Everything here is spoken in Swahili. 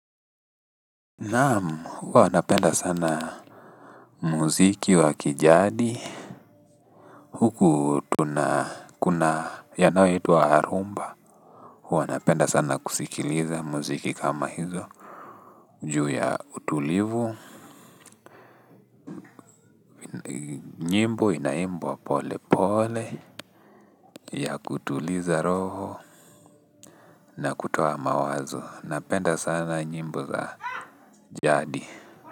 Naam huwa napenda sana muziki wa kijadi. Huku tuna kuna yanayo itwa harumba. Huwa napenda sana kusikiliza muziki kama hizo. Juu ya utulivu nyimbo inaimbwa pole pole ya kutuliza roho na kutoa mawazo. Napenda sana nyimbo za jadi.